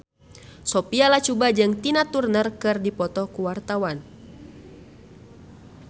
Sophia Latjuba jeung Tina Turner keur dipoto ku wartawan